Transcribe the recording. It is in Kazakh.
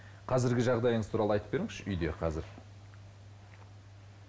қазіргі жағдайыңыз туралы айтып беріңізші үйде қазір